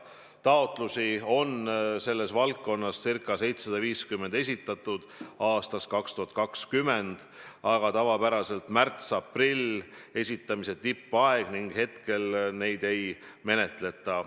Taotlusi on selles valdkonnas esitatud ca 750 ja ilmselt on nii ka aastal 2020, aga tavapäraselt on märts-aprill taotluste esitamise tippaeg ning esialgu neid ei menetleta.